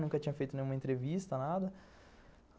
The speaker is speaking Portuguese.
Nunca tinha feito nenhuma entrevista, nada.